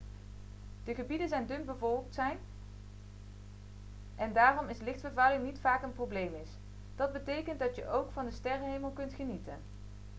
de gebieden zijn dunbevolkt zijn en daarom is lichtvervuiling niet vaak een probleem is dat betekent dat je ook van de sterrenhemel kunt genieten